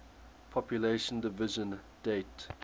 population division date